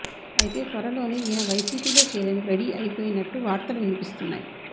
అయితే త్వరలోనే ఈయన వైసీపీలో చేరేందుకు రెడీ అయిపోయినట్టు వార్తలు వినిపిస్తున్నాయి